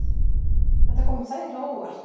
Þetta kom mér þægilega á óvart